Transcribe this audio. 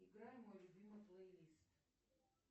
играй мой любимый плейлист